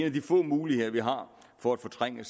af de få muligheder vi har for at fortrænge